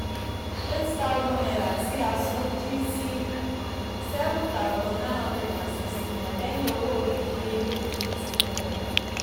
eight thousand naira tí a san dín sí seven thousand nine hundred sixty lẹ́yìn owó ìdíyelé ifteen naira